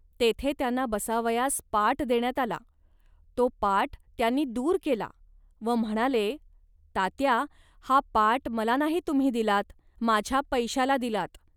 तेथे त्यांना बसावयास पाट देण्यात आला. तो पाट त्यांनी दूर केला व म्हणाले, "तात्या, हा पाट मला नाही तुम्ही दिलात, माझ्या पैशाला दिलात